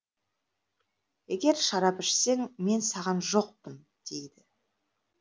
егер шарап ішсең мен саған жоқпын дейді